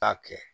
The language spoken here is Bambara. Taa kɛ